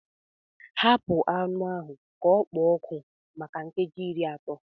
Hapụ anụ ahụ ka ọ kpoo ọkụ maka nkeji iri atọ